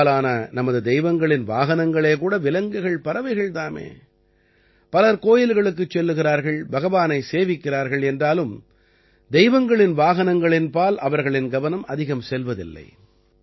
பெரும்பாலான நமது தெய்வங்களின் வாகனங்களே கூட விலங்குகள்பறவைகள் தாமே பலர் கோயில்களுக்குச் செல்கிறார்கள் பகவானை சேவிக்கிறார்கள் என்றாலும் தெய்வங்களின் வாகனங்களின்பால் அவர்களின் கவனம் அதிகம் செல்வதில்லை